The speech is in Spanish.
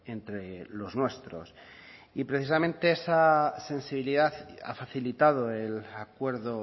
entre los nuestros y precisamente esa sensibilidad ha facilitado el acuerdo